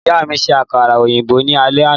Ìyá mi ṣe àkàrà òyìnbó ní alé àná.